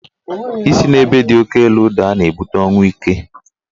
Isi n'ebe di oke elu daa na-ebute ọnwụ ike.